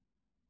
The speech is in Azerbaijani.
Xəmir.